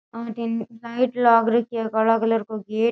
अठे लाइट लाग रखी है काला कलर को गेट --